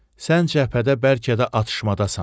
Sən cəbhədə bəlkə də atışmadasan.